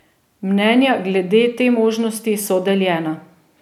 Mnenja glede te možnosti so deljena.